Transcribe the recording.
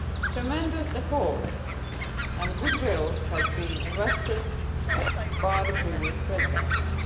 Tremendous effort and good will was invested by the previous Presidencies.